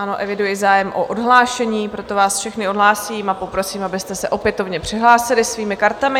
Ano, eviduji zájem o odhlášení, proto vás všechny odhlásím a poprosím, abyste se opětovně přihlásili svými kartami.